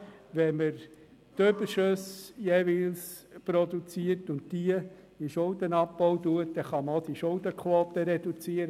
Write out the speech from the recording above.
Wenn man jeweils Überschüsse produziert und diese für den Schuldenabbau verwendet, dann kann man die Schuldenquote reduzieren.